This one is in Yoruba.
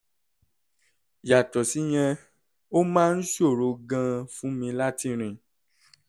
yàtọ̀ síyẹn ó máa ń ṣòro gan-an fún mi láti rìn